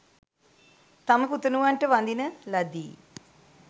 තම පුතනුවන්ට වඳින ලදී.